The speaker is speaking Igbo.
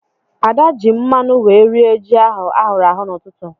Ada ji mmanu wee rie ji ahụ ahụrụ ahụ n'ụtụtụ.